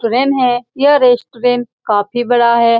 है यह रेस्टोरेंट काफी बड़ा है ।